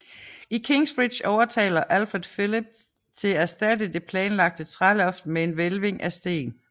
I Kingsbridge overtaler Alfred Phillip til erstatte det planlagte træloft med en hvælving af sten